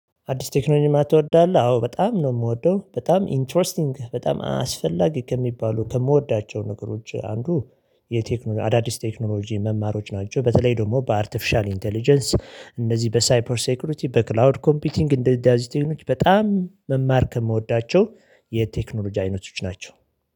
አዲስ ቴክኖሎጂማ ትወዳለህ? አዎ በጣም ነው የምወደው በጣም ኢንተረስቲንግ በጣም አስፈላጊ ከሚባሉ ከምወዳቸው ነገሮች አንዱ የቴክኖሎጂ አዳዲስ ቴክኖሎጂ መማሮች ናቸው በተለይ ደግሞ በአርቲፊሻል ኢንተለጀንስ እነዚህ በሳይፐር ሴኩሪቲ በክላውድ ኮምፒቲንግ እንደ ደዛዝ ቴክኖሎጂ በጣም መማር ከምወዳቸው የቴክኖሎጂ አይነቶች ናቸው።